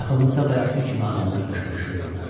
Yaxınlıqda bayaqkı kimi adamlar qışqırışırdılar.